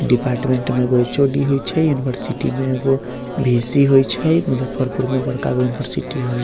डिपार्टमेंट में एगो एच.ओ.डी. होय छै यूनिवर्सिटी में एगो वी.सी. होय छै मुजफ्फरफर में बड़का गो यूनिवर्सिटी हेय।